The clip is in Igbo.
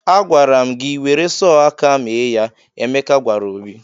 "Agwara m gị were sọọ aka mee ya!" Emeka gwara Obi.